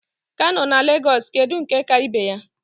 Kano na Lagos kedu nke ka ibe ya?